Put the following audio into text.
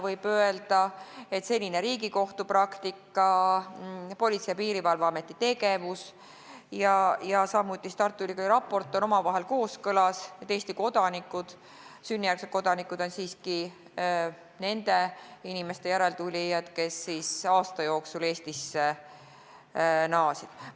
Võib öelda, et senine Riigikohtu praktika, Politsei- ja Piirivalveameti tegevus ja Tartu Ülikooli raporti järeldus on omavahel kooskõlas: Eesti sünnijärgsed kodanikud on siiski nende inimeste järeltulijad, kes aasta jooksul Eestisse naasid.